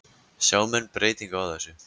Sjá menn breytingu á þessu?